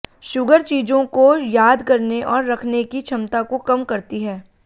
sugar चीजों को याद करने और रखने की क्षमता को कम करती है